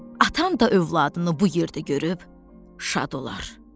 Atan da övladını bu yerdə görüb şad olar.